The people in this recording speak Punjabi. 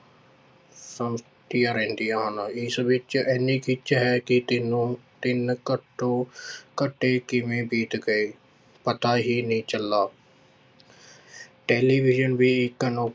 ਰਹਿੰਦੀਆਂ ਹਨ ਇਸ ਵਿੱਚ ਇੰਨੀ ਖਿੱਚ ਹੈ ਕਿ ਤਿੰਨੋਂ ਤਿੰਨ ਘੱਟੋ ਘੰਟੇ ਕਿਵੇਂ ਬੀਤ ਗਏ ਪਤਾ ਹੀ ਨਹੀਂ ਚੱਲਦਾ ਟੈਲੀਵਿਜ਼ਨ ਵੀ ਇੱਕ ਅਨੋ~